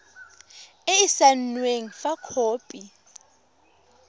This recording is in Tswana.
e e saenweng fa khopi